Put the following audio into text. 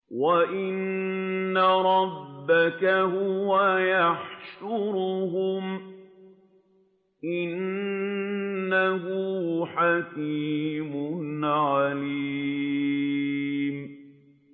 وَإِنَّ رَبَّكَ هُوَ يَحْشُرُهُمْ ۚ إِنَّهُ حَكِيمٌ عَلِيمٌ